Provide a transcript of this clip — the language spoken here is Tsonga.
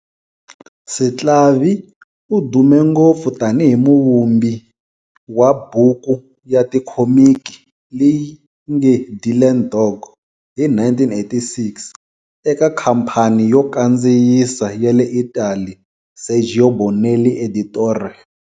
Sclavi u dume ngopfu tanihi muvumbi wa buku ya tikhomiki"leyi nge Dylan Dog" hi 1986, eka khampani yo kandziyisa ya le Italy Sergio Bonelli Editore.